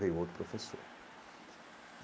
Veio outro professor.